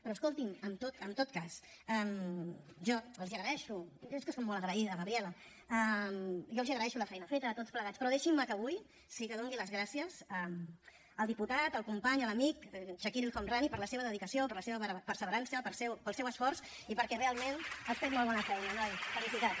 però escoltin en tot cas jo els agraeixo jo és que soc molt agraïda gabriela la feina feta a tots plegats però deixin me que avui sí que doni les gràcies al diputat al company a l’amic chakir el homrani per la seva dedicació per la seva perseverança pel seu esforç i perquè realment has fet molt bona feina noi felicitats